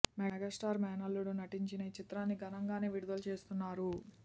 megastar మేనల్లుడు నటించిన ఈ చిత్రాన్ని ఘనంగానే విడుదల చేస్తున్నారు